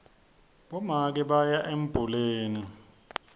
bomake baya embuleni